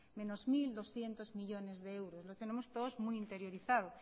menos mil doscientos millónes de euros lo tenemos todos muy interiorizado